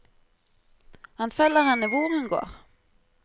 Han følger henne hvor hun går.